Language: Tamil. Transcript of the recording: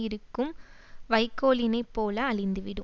இருக்கும் வைக்கோலினைப் போல அழிந்துவிடும்